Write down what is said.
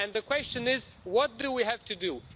The question is what do we have to do?